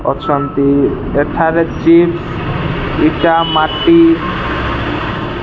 ଅଛନ୍ତି ଏଠାରେ ଚିପ୍ସ ଇଟା ମାଟି --